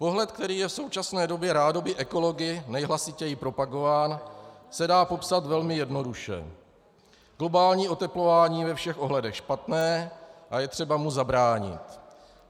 Pohled, který je v současné době rádoby ekology nejhlasitěji propagován, se dá popsat velmi jednoduše: Globální oteplování je ve všech ohledech špatné a je třeba mu zabránit.